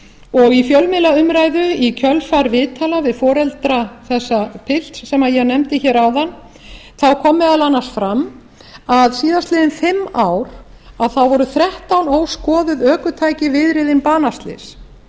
og í fjölmiðlaumræðu í kjölfar viðtala við foreldra þessa pilts sem ég nefndi hér áðan þá kom meðal annars fram að síðastliðin fimm ár voru þrettán óskoðuð ökutæki viðriðin banaslys